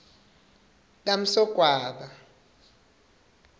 kamsogwaba